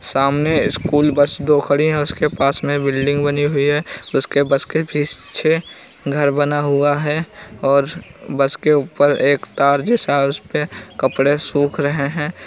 सामने school bus दो खड़ी हैं उसके पास में बिल्डिंग बनी हुई है। उसके बस के पीछे घर बना हुआ है और बस के ऊपर एक तार जैसा है उसपे (उस पर) कपड़े सूख रहें हैं।